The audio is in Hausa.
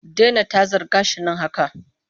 Dena tazar gashin nan haka!